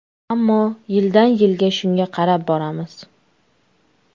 Ammo yildan-yilga shunga qarab boramiz.